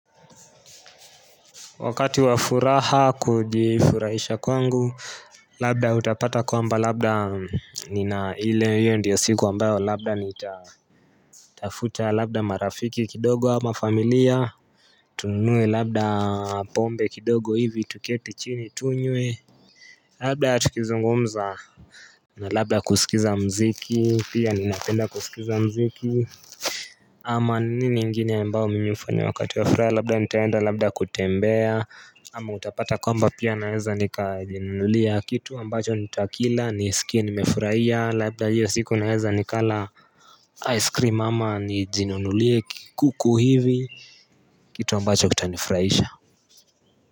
Wakati wa furaha kujifurahisha kwangu labda utapata kwamba labda nina ile hiyo ndiyo siku ambayo labda nitatafuta labda marafiki kidogo ama familia tununue labda pombe kidogo hivi tuketi chini tunywe labda tukizungumza na labda kusikiza muziki pia ninapenda kusikiza muziki ama nini ingine ambao mimi hufanya wakati wa furaha labda nitaenda labda kutembea ama utapata kwamba pia naweza nikajinunulia kitu ambacho nitakila nisikia nimefurahia labda hiyo siku naweza nikala ice cream ama nijinunulie kuku hivi kitu ambacho kitanifurahisha.